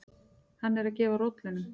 Hann er að gefa rollunum.